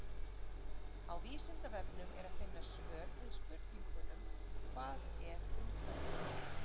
á vísindavefnum er að finna svör við spurningunum hvað er umhverfi